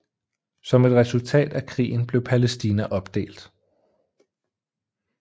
Som et resultat af krigen blev Palæstina opdelt